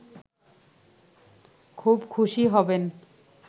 খুব খুশি হবেন